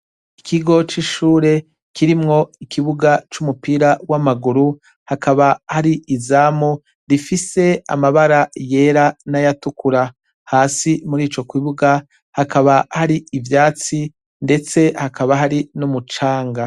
Ikigoc'ishure kirimwo ikibuga c'umupira w'amaguru hakaba hari izamu rifise amabara yera n'ayatukura hasi muri ico kwibuga hakaba hari ivyatsi, ndetse hakaba hari n'umucanga.